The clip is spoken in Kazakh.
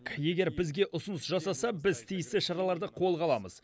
егер бізге ұсыныс жасаса біз тиісті шараларды қолға аламыз